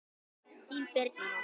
Þín Birna Rós.